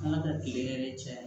An ka taa kile yɛrɛ caya